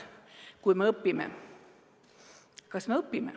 Kas me õpime?